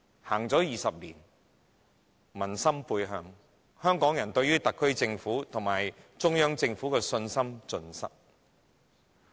回歸20年，民心背向，香港人對於特區政府及中央政府的信心盡失。